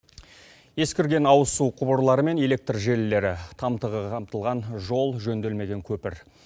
ескірген ауызсу құбырлары мен электр желілері қамтылған жол жөнделмеген көпір